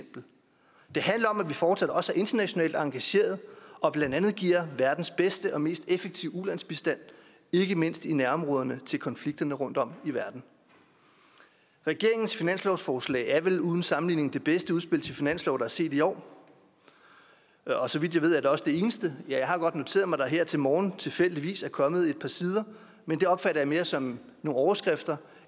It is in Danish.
vi fortsat også er internationalt engageret og blandt andet giver verdens bedste og mest effektive ulandsbistand ikke mindst i nærområderne til konflikterne rundtom i verden regeringens finanslovsforslag er vel uden sammenligning det bedste udspil til finanslov der er set i år og så vidt jeg ved er det også det eneste jeg har godt noteret mig at der her til morgen tilfældigvis er kommet et par sider men det opfatter jeg mere som nogle overskrifter